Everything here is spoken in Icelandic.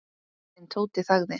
En Tóti þagði.